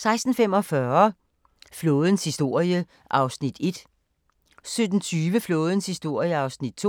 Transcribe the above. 16:45: Flådens historie (1:7) 17:20: Flådens historie (2:7)